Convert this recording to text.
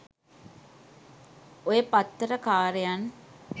ඔය පත්තර කාරයන්